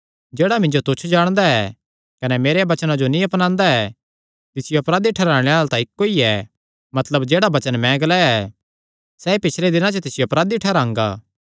जेह्ड़ा मिन्जो तुच्छ जाणदा ऐ कने मेरियां वचनां जो नीं अपनांदा ऐ तिसियो अपराधी ठैहराणे आल़ा तां इक्को ई ऐ मतलब जेह्ड़ा वचन मैं ग्लाया ऐ सैई पिछले दिनां च तिसियो अपराधी ठैहरांगा